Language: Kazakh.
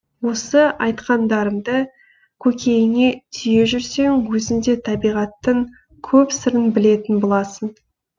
осы айтқандарымды көкейіне түйе жүрсең өзін де табиғаттың көп сырын білетін боласың